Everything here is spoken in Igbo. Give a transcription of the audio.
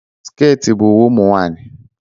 sikirt bụ uwe ụmụ nwanyị.